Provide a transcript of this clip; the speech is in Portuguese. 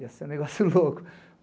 Ia ser um negócio louco.